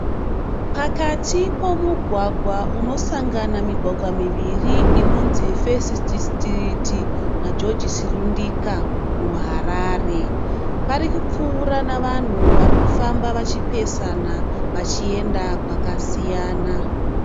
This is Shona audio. Pakati pomugwaga unosangana migwagwa miviri inonzi fesiti sitiriti na joji silundika mu Harare. Parikupfuura navanhu varikufamba vachipesana vachienda kwakasiyana.